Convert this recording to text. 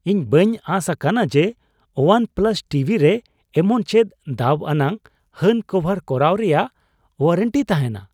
ᱤᱧ ᱵᱟᱹᱧ ᱟᱸᱥ ᱟᱠᱟᱱᱟ ᱡᱮ ᱳᱣᱟᱱ ᱯᱞᱟᱥ ᱴᱤᱵᱷᱤ ᱨᱮ ᱮᱢᱚᱱ ᱪᱮᱫ ᱫᱟᱹᱵᱽ ᱟᱱᱟᱜ ᱦᱟᱹᱱ ᱠᱚᱵᱷᱟᱨ ᱠᱚᱨᱟᱣ ᱨᱮᱭᱟᱜ ᱳᱣᱟᱨᱮᱱᱴᱤ ᱛᱟᱦᱮᱱᱟ ᱾